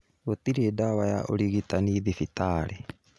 Gũtirĩ ndawa ya ũrigitani thibitarĩ